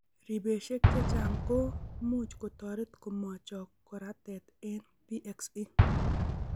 Ribeshek chechang' ko much kotoret komo chok koratet eng' PXE.